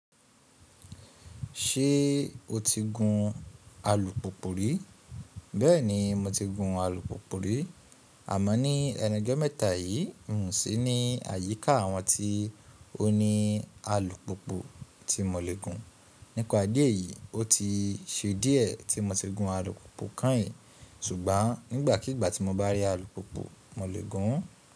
Ṣé o ti gun alùpùpù rí? Bẹ́ẹ̀ni mo ti gun alùpùpù rí. Àmọ́ ní ẹnu ojọ́ mẹ́ta yìí, n sì ní àyíká àwọn tí ó ní alùpùpù tí mo le gun. Nípa ìdí èyí, ó ti ṣe díẹ̀ tí mo ti gun alùpùpù kanyin. Ṣùgbọ́n nígbàkigbà tí mo bá rí alùpùpù, mo le gun ún.